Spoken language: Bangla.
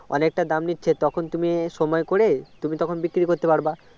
অনেকটা দাম নিচ্ছে তখন তুমি সময় করে তুমি তখন বিক্রি করতে পারবে